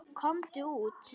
Komum út.